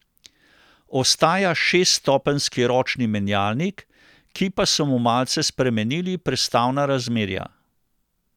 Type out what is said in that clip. Ostaja šeststopenjski ročni menjalnik, ki pa so mu malce spremenili prestavna razmerja.